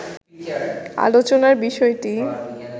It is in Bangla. আলোচনার বিষয়টি